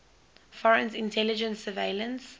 foreign intelligence surveillance